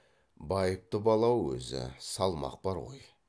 байыпты бала ау өзі салмақ бар ғой